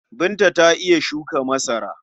Binta ta iya shuka masara.